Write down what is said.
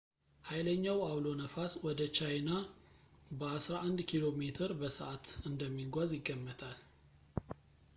ኃይለኛው አውሎ ነፋስ ወደ ቻይኛ በአስራ አንድ ኪሜ በሰዓት እንደሚጓዝ ይገመታል